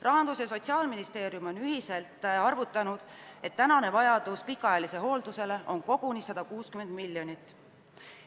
" Rahandusministeerium ja Sotsiaalministeerium on ühiselt arvutanud, et tänane vajadus pikaajalise hoolduse korral on koguni 160 miljonit.